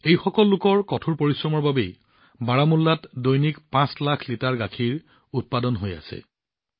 এনে লোকৰ কঠোৰ পৰিশ্ৰমৰ বাবেই বাৰামুল্লাত দৈনিক ৫৫ লাখ লিটাৰ গাখীৰ উৎপাদন হৈ আছে